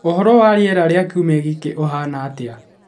Ũhoro wa rĩera rĩa kiumia gĩkĩ uhana atia